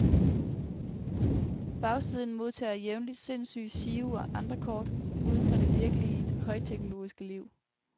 Bagsiden modtager jævnligt sindssyge giro- og andre kort udefra det virkelige, højteknologiske liv.